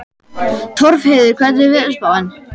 Torfheiður, hvernig er veðurspáin?